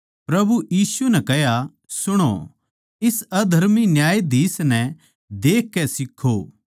प्रभु यीशु नै कह्या सुणो इस अधर्मी न्यायाधीश नै देख के सीखों